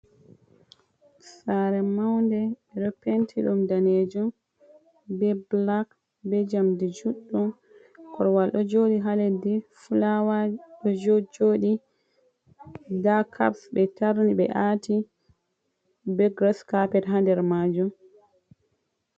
Saare maunde, ɓe ɗo penti ɗum daneejum be bulak be njamdi juɗɗum, korwal ɗo jooɗi ha leddi fulawa ɗo jojooɗi nda kaps be tarni ɓe aati be giras kapet ha nder majum.